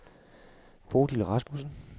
Bodil Rasmussen